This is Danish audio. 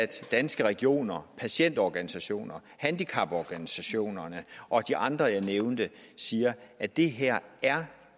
danske regioner patientorganisationerne handicaporganisationerne og de andre jeg nævnte siger at det her